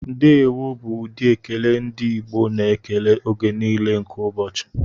Ndewo bụ ụdị ekele ndị Igbo na-ekele oge niile nke ụbọchị.